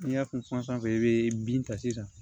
N'i y'a kunsan i bɛ bin ta sisan